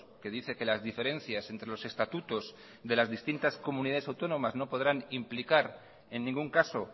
que dice que las diferencias entre los estatutos de las distintas comunidades autónomas no podrán implicar en ningún caso